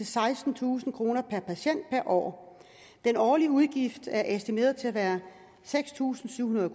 sekstentusind kroner per patient per år den årlige udgift er estimeret til at være seks tusind syv hundrede